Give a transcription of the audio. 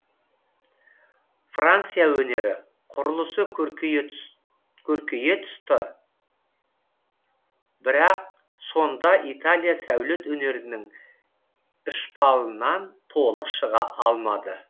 франция өнері құрылысы көркейе тұсті бірақ сонда италия сәулет өнерінің ьщпалынан толық шыға алмады